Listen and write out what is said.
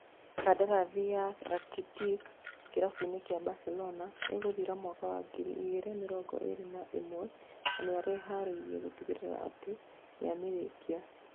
Kandarathi ya Rakitic kĩrabu-inĩ kia Barcelona ĩgũthira mwaka wa ngiri igĩrĩ mĩrongo ĩrĩ na ĩmwe, na nĩeharĩirie gũtigĩrĩra atí nĩamĩrĩkia